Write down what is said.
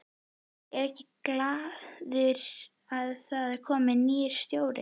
Er ég glaður að það er kominn nýr stjóri?